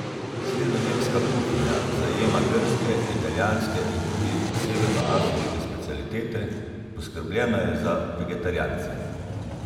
Sredozemska kuhinja zajema grške, italijanske in tudi severnoafriške specialitete, poskrbljeno je za vegetarijance.